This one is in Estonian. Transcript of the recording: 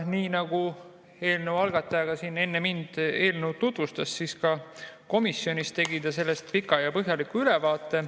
Nii nagu eelnõu algataja siin enne mind eelnõu tutvustas, tegi ta ka komisjonis sellest pika ja põhjaliku ülevaate.